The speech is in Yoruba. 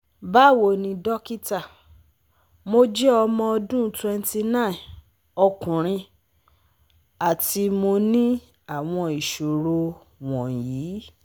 Bawoni dokita, mo je omo odun 29 okunrin ati mo ni awon isoro won yi